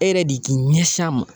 E yɛrɛ de k'i ɲɛsin a ma